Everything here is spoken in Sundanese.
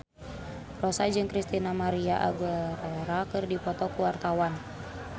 Rossa jeung Christina María Aguilera keur dipoto ku wartawan